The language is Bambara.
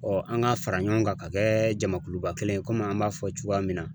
an ka fara ɲɔgɔn kan ka kɛ jamakuluba kelen ye komi an b'a fɔ cogoya min na.